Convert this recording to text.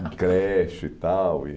Em creche e tal. E